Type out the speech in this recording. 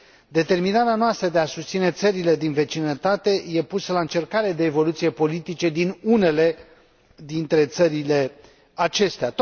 Determinarea noastră de a susține țările din vecinătate e pusă la încercare de evoluțiile politice din unele dintre țările acestea.